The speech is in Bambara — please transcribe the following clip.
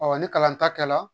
Ɔ ni kalan ta kɛra